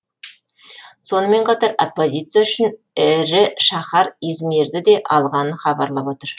сонымен қатар оппозиция үшінші ірі шаһар измирді де алғанын хабарлап отыр